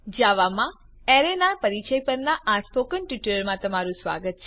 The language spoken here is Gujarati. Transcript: જાવામાં અરે ના પરિચય પરના સ્પોકન ટ્યુટોરીયલમાં તમારું સ્વાગત છે